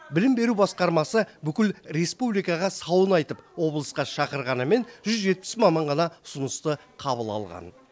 білім беру басқармасы бүкіл республикаға сауын айтып облысқа шақырғанымен жүз жетпіс маман ғана ұсынысты қабыл алған